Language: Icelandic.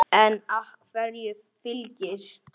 En af hverju Fylkir?